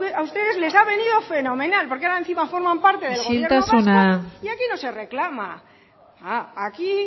a ustedes les ha venido fenomenal porque ahora encima forman parte del gobierno vasco isiltasuna y aquí no se reclama aquí